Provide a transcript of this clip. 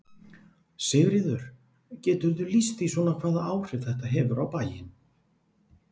Sigríður: Geturðu lýst því svona hvaða áhrif þetta hefur á bæinn?